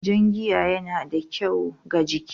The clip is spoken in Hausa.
Jan giya yana da kyau ga jiki